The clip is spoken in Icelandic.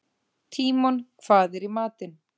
Tímon, hvað er í matinn?